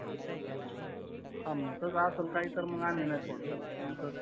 हा मग तस असेल काही तर आम्ही नाही करणार पण सर